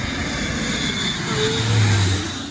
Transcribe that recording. a hu vhi na u